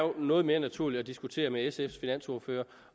noget mere naturligt at diskutere med sfs finansordfører